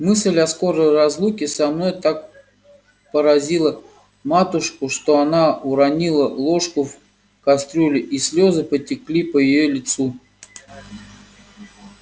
мысль о скорой разлуке со мною так поразила матушку что она уронила ложку в кастрюлю и слёзы потекли по её лицу